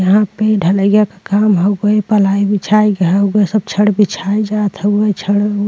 यहाँ पे ढ़लइया क काम हउवे। पलाई बिछाई ग हउवे। सब छड़ बिछाये जात हउवे। छड़ ओ --